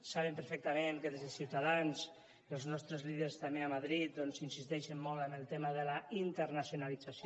saben perfectament que des de ciutadans i els nostres líders també a madrid doncs insisteixen molt en el tema de la internacionalització